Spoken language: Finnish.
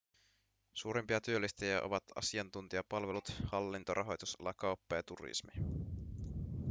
suurimpia työllistäjiä ovat asiantuntijapalvelut hallinto rahoitusala kauppa ja turismi